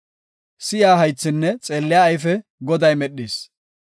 Si7iya haythinne xeelliya ayfe, Goday medhis.